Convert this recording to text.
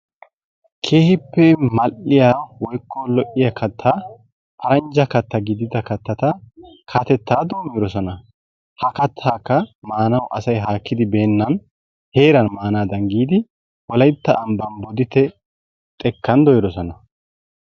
Keehippe mal'iya woykko lo'iya kattaa paranjja gidida kattata katettaa doommidosona. Ha kattaykka maanawu asay haakkidi beennan heeran maanaadan giidi wolaytta ambban Bodditte xekkan dooyidosona.